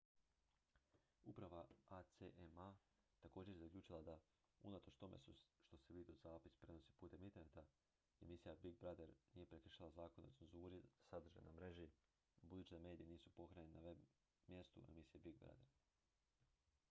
uprava acma također je zaključila da unatoč tome što se videozapis prenosi putem interneta emisija big brother nije prekršila zakone o cenzuri za sadržaj na mreži budući da mediji nisu pohranjeni na web-mjestu emisije big brother